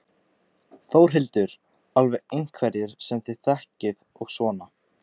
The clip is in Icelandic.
Þórhildur: Alveg einhverjir sem þið þekkið og svona?